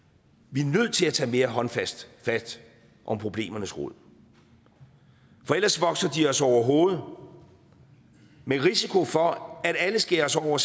vi er nødt til at tage mere håndfast fat om problemernes rod for ellers vokser de os over hovedet med risiko for at alle skæres over